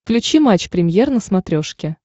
включи матч премьер на смотрешке